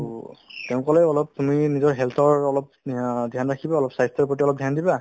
to তেওঁ ক'লে অলপ তুমি নিজৰ health ৰ অলপ অ dhyan ৰাখিবা অলপ স্বাস্থ্যৰ প্ৰতি অলপ dhyan দিবা